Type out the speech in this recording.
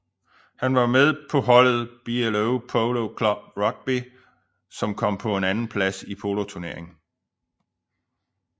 Han var med på holdet BLO Polo Club Rugby som kom på en andenplads i poloturneringen